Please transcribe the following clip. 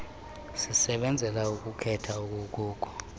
sisebenzela ukukhetha okukuko